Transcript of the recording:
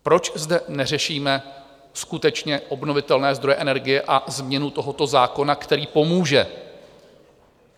Proč zde neřešíme skutečně obnovitelné zdroje energie a změnu tohoto zákona, který pomůže?